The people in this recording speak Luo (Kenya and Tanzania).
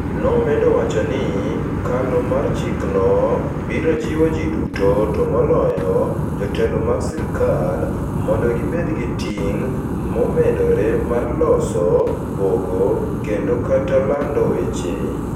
Nomedo wacho ni, kalo mar chikno "biro jiwo ji duto, to moloyo, jotelo mag sirkal, mondo gibed gi ting ' momedore mar loso, pogo, kendo/kata lando weche. "